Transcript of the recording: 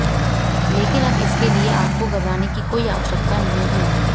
लेकिन अब इसके लिए आपको घबराने की कोई आवश्यकता नहीं है